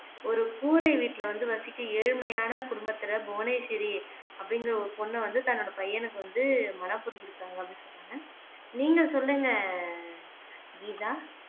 ஒரு கூரை வீட்டுலே வந்து வசிக்கும் ஏழ்மையான குடும்பத்திலே புவனேஷ்வரி அப்படிங்கற ஒரு பொண்ண வந்து தன்னோட பையனுக்கு வந்து மனம் புரிஞ்சு இருக்காங்க அப்படீன்னு சொன்னாங்க நீங்க சொல்லுங்க கீதா